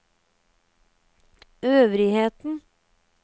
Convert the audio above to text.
øvrigheten